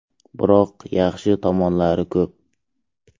Biroq, yaxshi tomonlari ko‘p.